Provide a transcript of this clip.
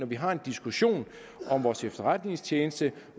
vi har en diskussion om vores efterretningstjeneste